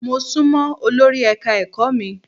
Mo sún mọ́ olori ẹ̀ka-ẹ̀kọ́ mi.